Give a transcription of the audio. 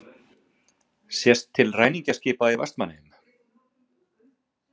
Sést til ræningjaskipa í Vestmannaeyjum.